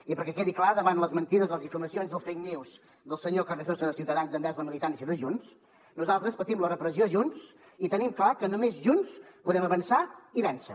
i perquè quedi clar davant les mentides les difamacions i les fake news del senyor carrizosa de ciutadans envers la militància de junts nosaltres patim la repressió junts i tenim clar que només junts podem avançar i vèncer